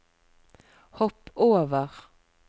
hopp over